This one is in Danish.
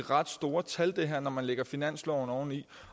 ret store tal når man lægger finansloven oveni